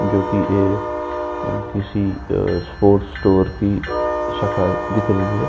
जोकि किसी अ स्पोर्ट्स स्टोर की शाखा दिख रही है।